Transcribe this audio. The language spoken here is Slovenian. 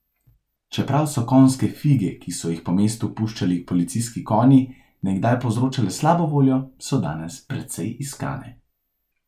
Čeprav so konjske fige, ki so jih po mestu puščali policijski konji, nekdaj povzročale slabo voljo, so danes precej iskane.